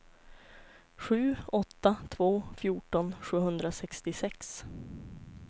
sju åtta två två fjorton sjuhundrasextiosex